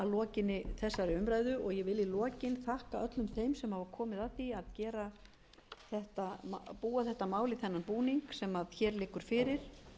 lokinni þessari umræðu og ég vil í lokin þakka öllum þeim sem hafa komið að því að búa þetta mál í þennan búning sem hér liggur fyrir